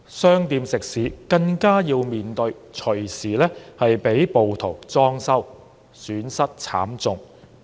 商店食肆更要面對隨時被暴徒"裝修"，損失慘重。